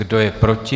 Kdo je proti?